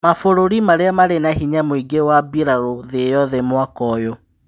Mabũrũri marĩa marĩ na hinya mũingĩ wa mbĩrarũ thĩ yothe mwaka ũyũ.